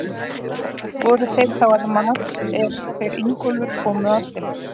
Voru þeir þá að mat, er þeir Ingólfur komu að þeim.